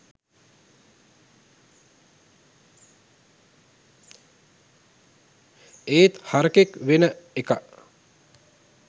ඒත් හරකෙක් වෙන එක